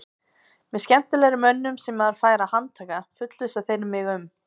Með skemmtilegri mönnum sem maður fær að handtaka, fullvissa þeir mig um.